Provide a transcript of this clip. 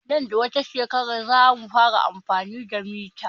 Nan da wata shekarar zamu fara amfani da mita